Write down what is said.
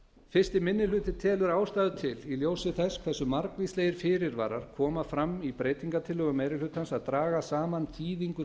fyrstu minni hluti telur ástæðu til í ljósi þess hversu margvíslegir fyrirvarar koma fram í breytingartillögum meiri hlutans að draga saman þýðingu